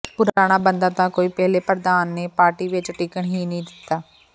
ਪੁਰਾਣਾ ਬੰਦਾ ਤਾਂ ਕੋਈ ਪਹਿਲੇ ਪ੍ਰਧਾਨ ਨੇ ਪਾਰਟੀ ਵਿੱਚ ਟਿਕਣ ਹੀ ਨਹੀਂ ਦਿੱਤਾ